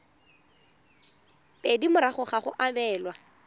pedi morago ga go abelwa